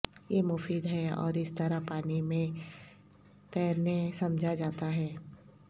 یہ مفید ہے اور اس طرح پانی میں تیرنے سمجھا جاتا ہے